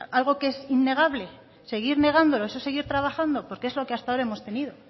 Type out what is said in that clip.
algo que es innegable seguir negándolo eso es seguir trabajando porque es lo que hasta ahora hemos tenido